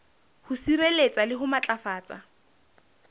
ho sireletsa le ho matlafatsa